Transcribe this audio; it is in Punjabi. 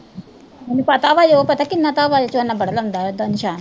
ਮੈਨੂੰ ਪਤਾ ਵਾ ਉਹ ਪਤਾ ਬੜਾ ਲਾਉਂਦਾ, ਏਦਾਂ ਨਿਸ਼ਾਨ